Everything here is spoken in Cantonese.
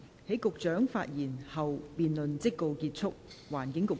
在局長發言後，辯論即告結束。